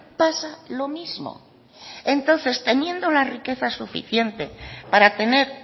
pasa lo mismo entonces teniendo la riqueza suficiente para tener